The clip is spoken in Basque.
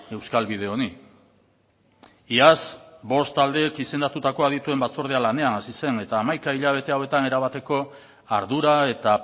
euskal bide honi iaz bost taldeek izendatutako adituen batzordea lanean hasi zen eta hamaika hilabete hauetan erabateko ardura eta